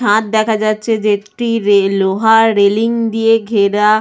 ছাদ দেখা যাচ্ছে যেটি রে লোহার রেলিং দিয়ে ঘেরা।